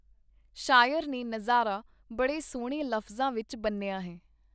ਸ਼ਾਇਰ ਨੇ ਨਜ਼ਾਰਾ ਬੜੇ ਸੁਹਣੇ ਲਫਜ਼ਾਂ ਵਿਚ ਬੰਨ੍ਹਿਆ ਹੈ -.